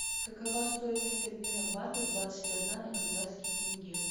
какова стоимость обмена бата двадцать одна на казахский тенге